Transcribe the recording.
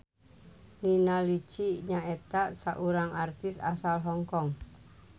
Nina Lichi nyaeta saurang artis asal Hong Kong.